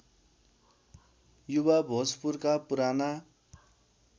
युवा भोजपुरका पुराना